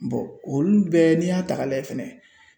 olu bɛɛ n'i y'a ta k'a lajɛ fɛnɛ